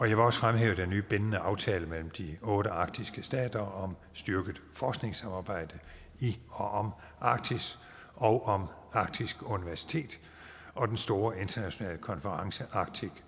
jeg vil også fremhæve den nye bindende aftale mellem de otte arktiske stater om styrket forskningssamarbejde i og om arktis og om arktisk universitet og den store internationale konference arctic